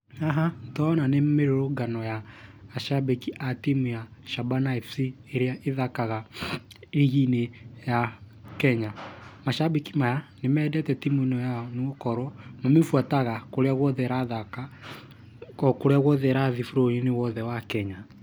Haha, nĩ tũrona nĩ mĩrũrũngano ya cambĩki a timu ya SHABANA FC ĩrĩa ĩthakaga rigi-inĩ ya Kenya. Macambĩki maya nĩ mendete timu ĩno yao nĩ gũkorwo mamĩbuataga kũrĩa guothe ĩrathaka,o kũrĩa guothe ĩrathiĩ bũrũri-inĩ wothe wa Kenya.